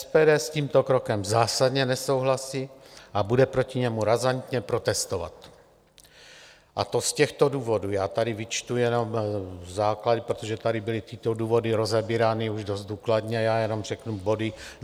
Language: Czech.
SPD s tímto krokem zásadně nesouhlasí a bude proti němu razantně protestovat, a to z těchto důvodů - já tady vyčtu jenom základy, protože tady byly tyto důvody rozebírány už dost důkladně, já jenom řeknu body.